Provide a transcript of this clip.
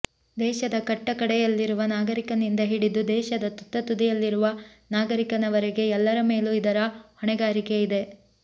ದೇಶದ ಕಟ್ಟ ಕಡೆಯಲ್ಲಿರುವ ನಾಗರಿಕನಿಂದ ಹಿಡಿದು ದೇಶದ ತುತ್ತ ತುದಿಯಲ್ಲಿರುವ ನಾಗರಿಕನವರೆಗೆ ಎಲ್ಲರ ಮೇಲೂ ಇದರ ಹೊಣೆಗಾರಿಕೆಯಿದೆ